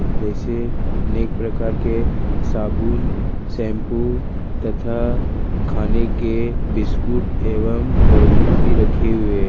जैसे अनेक प्रकार के साबुन शैंपू तथा खाने के बिस्कुट एवं कोल्डिंग भी रखे हुए--